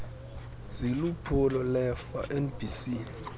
ziliphulo lerfa nbc